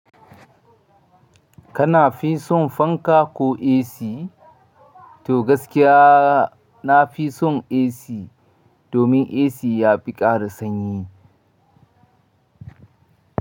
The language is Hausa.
Kana fi son fanka ko AC? To gaskiya na fi son AC domin AC ya fi ƙara sanyi.